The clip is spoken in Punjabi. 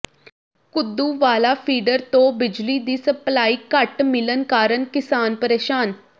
ਘੁੱਦੂਵਾਲਾ ਫੀਡਰ ਤੋਂ ਬਿਜਲੀ ਦੀ ਸਪਲਾਈ ਘੱਟ ਮਿਲਣ ਕਾਰਨ ਕਿਸਾਨ ਪਰੇਸ਼ਾਨ